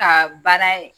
Ka baara ye